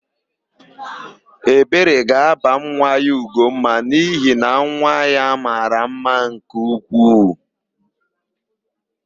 Ebere ga-aba nwa ya Ugomma n'ihi na nwa ya mara mma nke ukwuu.